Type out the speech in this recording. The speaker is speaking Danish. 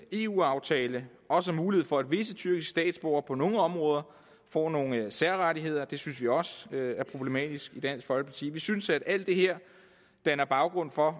eu aftale også mulighed for at visse tyrkiske statsborgere på nogle områder får nogle særrettigheder det synes vi også er problematisk i dansk folkeparti vi synes at alt det her danner baggrund for